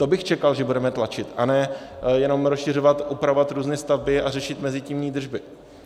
To bych čekal, že budeme tlačit, a ne jenom rozšiřovat, upravovat různé stavby a řešit mezitímní držby.